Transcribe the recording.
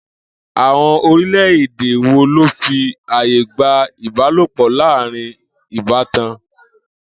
Àwo̩n orílè̩-èdè wo ló fi àyè gba ìbálòpò̩ láàárín ìbátan?